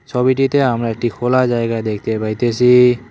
ছবিটিতে আমরা একটি খোলা জায়গা দেখতে পাইতেসি।